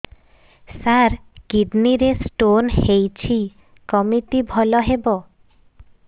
ସାର kidney ରେ stone ହେଇଛି କମିତି ଭଲ ହେବ